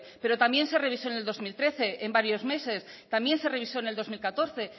pero también se revisó en el dos mil trece en varios meses también se revisó en el dos mil catorce